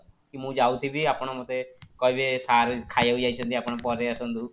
କି ମୁଁ ଯାଉଥିବି ଆପଣ ମତେ କହିବେ sir ଖାଇବାକୁ ଯାଇଛନ୍ତି ଆପଣ ପରେ ଆସନ୍ତୁ